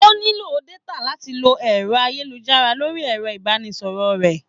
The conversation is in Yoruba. O nílò détà láti lọ ẹ̀rọ ayélujára lórí ẹ̀rọ-ìbánisọ̀rọ̀ rẹ̀.